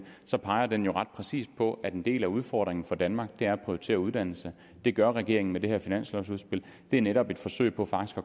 peger den jo ret præcist på at en del af udfordringen for danmark er at prioritere uddannelse det gør regeringen med det her finanslovudspil det er netop et forsøg på faktisk